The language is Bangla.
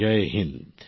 জয় হিন্দ